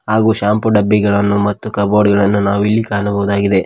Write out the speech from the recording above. ಹಾಗೂ ಶಾಂಪೂ ಡಬ್ಬಿಗಳನ್ನು ಮತ್ತು ಕಬೋರ್ಡು ಗಳನ್ನು ನಾವಿಲ್ಲಿ ಕಾಣಬಹುದಾಗಿದೆ.